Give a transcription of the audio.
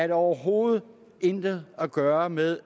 det overhovedet intet at gøre med